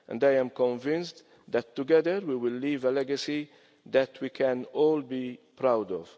I am convinced that together, we will leave a legacy that we can all be proud of.